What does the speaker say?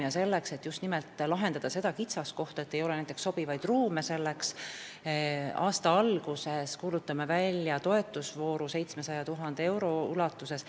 Ja selleks, et lahendada just nimelt seda kitsaskohta, et ei ole sobivaid ruume, kuulutame aasta alguses välja toetusvooru 700 000 euro ulatuses.